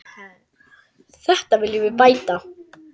Þetta viljum við bæta.